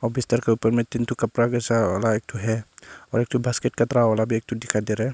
और बिस्तर के ऊपर में तीन ठो कपड़ा जैसा ठो है और एक ठो बास्केट वाला भी एक ठो दिखाई दे रहा है।